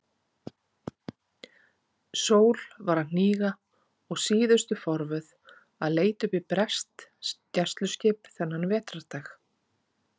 Sól var að hníga og síðustu forvöð að leita uppi breskt gæsluskip þennan vetrardag.